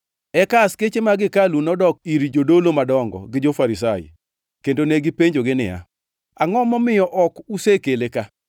Eka askeche mag hekalu nodok ir jodolo madongo gi jo-Farisai, kendo ne gipenjogi niya, “Angʼo momiyo ok usekele ka?”